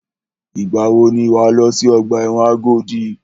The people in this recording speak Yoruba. Ìgbà wò ni wà á lọ sí ọgbà ẹ̀wọ̀n Agodi?